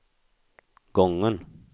gången